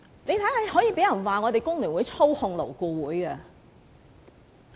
現在竟然有人批評工聯會操控勞顧會！